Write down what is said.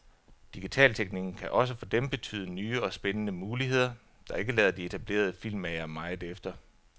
Digitalteknikken kan også for dem betyde nye og spændende muligheder, der ikke lader de etablerede filmmagere meget efter.